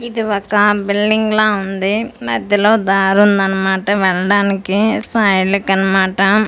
ఇది ఒక బిల్డింగ్ లా ఉంది మధ్యలో దారి ఉందన్నమాట వెళ్ళడానికి సైడ్లకి అన్నమాట ఇది.